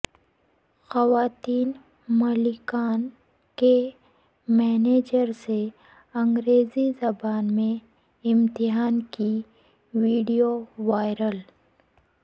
خواتین مالکان کے مینیجر سے انگریزی زبان میں امتحان کی ویڈیو وائرل